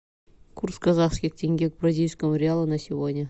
курс казахских тенге к бразильскому реалу на сегодня